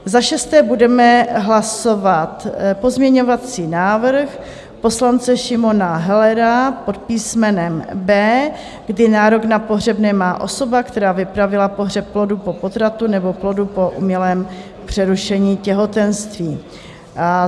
Za šesté budeme hlasovat pozměňovací návrh poslance Šimona Hellera pod písmenem B, kdy nárok na pohřebné má osoba, která vypravila pohřeb plodu po potratu nebo plodu po umělém přerušení těhotenství.